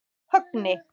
Högni